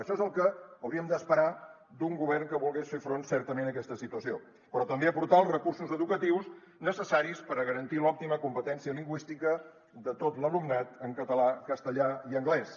això és el que hauríem d’esperar d’un govern que volgués fer front certament a aquesta situació però també aportar els recursos educatius necessaris per a garantir l’òptima competència lingüística de tot l’alumnat en català castellà i anglès